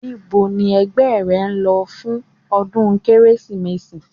Íbo ni ẹgbẹ́ rẹ ń lọ fún ọdún Kérésìmesì?